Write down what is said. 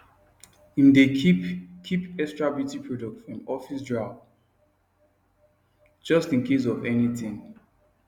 im dae keep keep extra beauty products for im office drawer just incase of anything